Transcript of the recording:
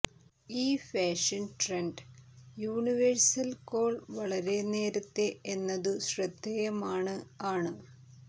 ഈ fashion trend universal call വളരെ നേരത്തെ എന്നതു ശ്രദ്ധേയമാണ് ആണ്